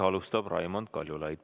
Alustab Raimond Kaljulaid.